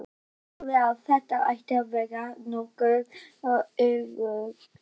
Þú sagðir að þetta ætti að vera nokkuð öruggt.